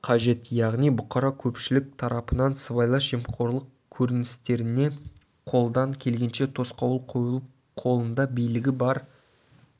қажет яғни бұқара көпшілік тарапынан сыбайлас жемқорлық көрністеріне қолдан келгенше тосқауыл қойылып қолында билігі бар